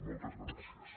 moltes gràcies